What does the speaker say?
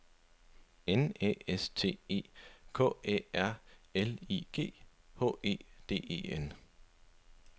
N Æ S T E K Æ R L I G H E D E N